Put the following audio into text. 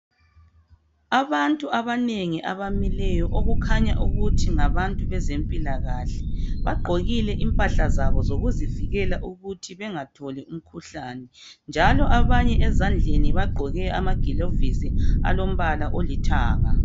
Abantu abanengi abamileyo okukhanya ukuthi ngabantu bezempilakahle. Bagqokile impahla zabo zokuzivikela ukuthi bengatholi umkhuhlane, njalo abanye ezandleni bagqoke amagilovisi alombala olithanga.